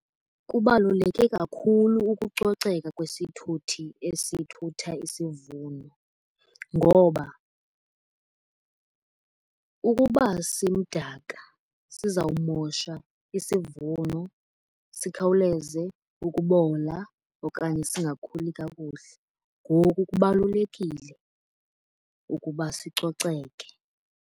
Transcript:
Kubaluleke kakhulu ukucoceka kwesithuthi esithutha isivuno. Ngoba ukuba simdaka sizawumosha isivuno, sikhawuleze ukubola okanye singakhuli kakuhle. Ngoku kubalulekile ukuba sicoceke.